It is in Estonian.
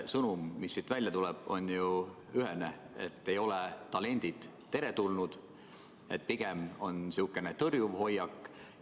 Sõnum, mis siit välja tuleb, on ju ühene: talendid ei ole teretulnud, pigem on sihuke tõrjuv hoiak.